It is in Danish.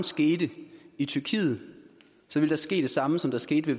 skete i tyrkiet ville der ske det samme som skete